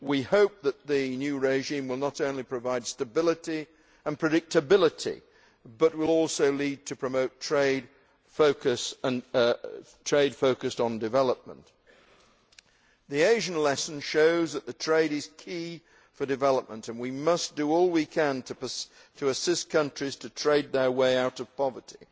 We hope that the new regime will not only provide stability and predictability, but will also lead to the promotion of trade focused on development. The Asian lesson shows that trade is key to development, and we must do all we can to assist countries to trade their way out of poverty.